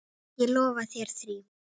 Ég lofa þér því.